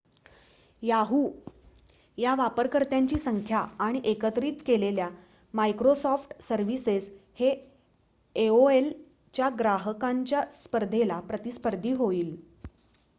Yahoo च्या वापरकर्त्यांची संख्या आणि एकत्रित केलेल्या मायक्रोसॉफ्ट सर्विसेस हे एओएल च्या ग्राहकांच्या संख्येला प्रतिस्पर्धी होईल